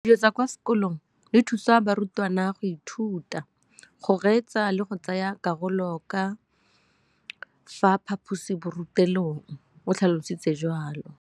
Dijo tsa kwa sekolong dithusa barutwana go ithuta, go reetsa le go tsaya karolo ka fa phaposiborutelong, o tlhalositse jalo.